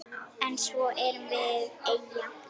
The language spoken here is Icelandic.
En svo erum við eyja.